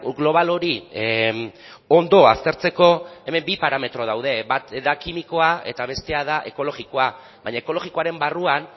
global hori ondo aztertzeko hemen bi parametro daude bat da kimikoa eta bestea da ekologikoa baina ekologikoaren barruan